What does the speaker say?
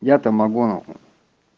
я-то могу